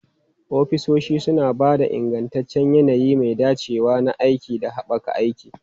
Ofisoshi suna ba da ingantaccen yanayi mai dacewa na aiki da haɓaka aiki.